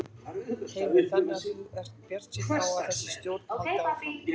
Heimir: Þannig að þú ert bjartsýn á að þessi stjórn haldi áfram?